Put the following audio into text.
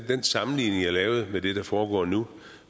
den sammenligning jeg lavede med det der foregår nu